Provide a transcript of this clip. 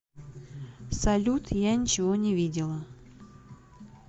салют я ничего не видела